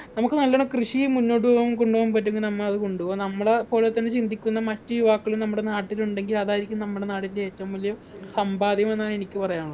നമുക്ക് നല്ലോണം കൃഷിയും മുന്നോട്ട് പോവാൻ കൊണ്ടുപോകാൻ പറ്റുന്ന നമ്മ അത് കൊണ്ടൊവുക നമ്മളെ പോലെ തന്നെ ചിന്തിക്കുന്ന മറ്റു യുവാക്കള്‍ നമ്മുടെ നാട്ടിലുണ്ടെങ്കിൽ അതായിരിക്കും നമ്മുടെ നാടിൻ്റെ ഏറ്റവും വലിയ സമ്പാദ്യം എന്നാണ് എനിക്ക് പറയാനുള്ളെ